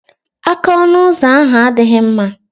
Aka ọnụ ụzọ ahu adịghị mma.